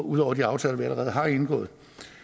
ud over de aftaler vi allerede har indgået